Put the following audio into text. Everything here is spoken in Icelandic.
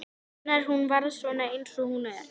Hvenær hún varð svona eins og hún er.